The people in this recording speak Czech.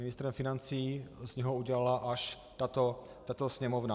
Ministra financí z něho udělala až tato Sněmovna.